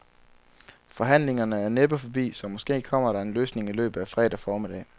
Forhandlingerne er næppe forbi, så måske kommer der en løsning i løbet af fredag formiddag.